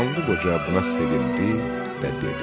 Qanlı Qoca buna sevindi və dedi: